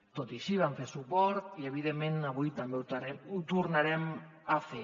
tot i així vam fer hi suport i evidentment avui també ho tornarem a fer